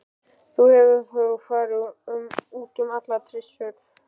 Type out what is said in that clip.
Þú hefur þá farið út um allar trissur?